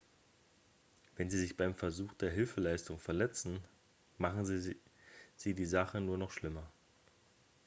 wenn sie sich beim versuch der hilfeleistung verletzen machen sie die sache nur noch schlimmer